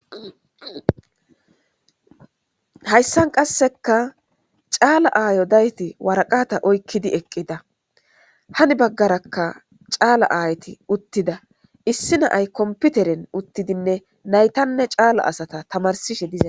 hayssan qasseka caala aayo dayti waraqata oykkidi eqqida hani baggarakka caala aayti uttida issi naay komputeren uttidinne naytanne caala asata tamarsishe dizaa